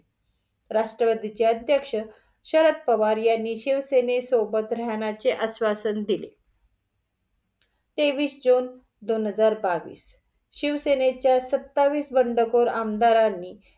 राष्ट्रवादीचे अध्यक्ष शरद पवार यांनी शिवसेने सोबत राहण्याचे आश्वासन दिले. तेवीस जून दोन हजार बावीस. शिवसेनेच्या सत्तावीस वंडखोर आमदारांनी